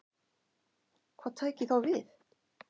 Hvað tæki þá við?